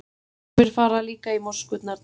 sumir fara líka í moskurnar til bæna